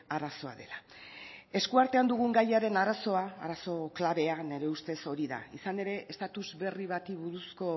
arazoa dela esku artean dugun gaiaren arazoa arazo klabea nire ustez hori da izan ere estatus berri bati buruzko